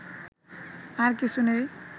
আর কিছু নেই